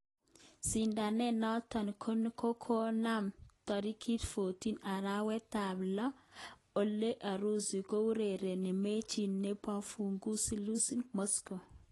Sidanet noton konomen torikit 14 arawet tab lo ele Urusi kourereni mechit neboufukuzi Luznikhi, Moscow